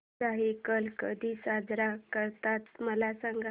दहिकाला कधी साजरा करतात मला सांग